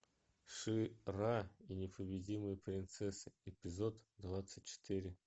ши ра и непобедимые принцессы эпизод двадцать четыре